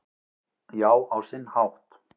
Já, á sinn hátt